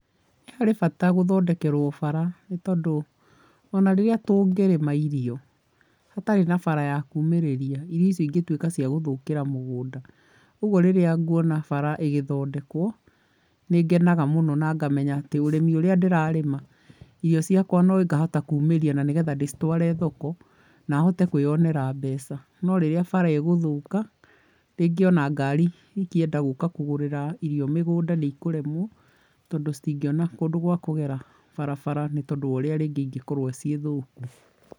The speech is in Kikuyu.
Harĩ bata gũthondekerwo bara nĩ tondũ ona rĩrĩa tũngĩrĩma irio hatarĩ na bara ya kuumĩrĩria, irio icio ingĩtuĩka cia gũthũkĩra mũgũnda, ũguo rĩrĩa nguona bara ĩgĩthondekwo, nĩngenaga mũno na ngamenya atĩ ũrĩmi urĩa ndĩrarĩma, irio ciakwa nĩngahota kuumĩria na nĩgetha ndĩcitware thoko na hote kwĩyonera mbeca. No rĩrĩa bara ĩgũthũka rĩngĩ ona ngari ingienda gũka kũgũrĩra irio mĩgũnda nĩ ikũremwo, tondũ citingĩona kũndũ gwa kũgera barabara nĩ tondũ wa ũrĩa rĩngĩ ingĩkorwo ciĩ thũku.